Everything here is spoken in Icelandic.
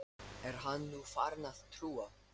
Er hann nú farinn að trúa?